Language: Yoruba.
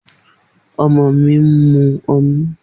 Omo mi n mu.